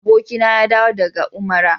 Jiya abokina ya dawo daga Umara.